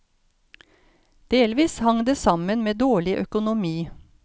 Delvis hang det sammen med dårlig økonomi.